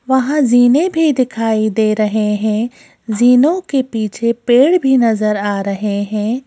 वहां जीने भी दिखाई दे रहे है जीनो के पीछे पेड़ भी नजर आ रहे हैं।